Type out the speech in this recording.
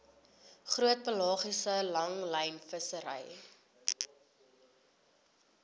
groot pelagiese langlynvissery